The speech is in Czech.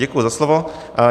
Děkuji za slovo.